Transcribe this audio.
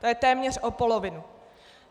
To je téměř o polovinu.